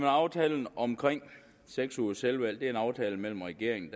aftalen om seks ugers selvvalgt en aftale mellem regeringen